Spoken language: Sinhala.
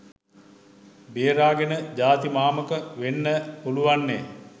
බේරාගෙන ජාති මාමක වෙන්න පුලුවන්නෙ.